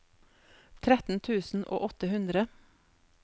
tretten tusen og åtte hundre